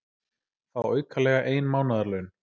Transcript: Fá aukalega ein mánaðarlaun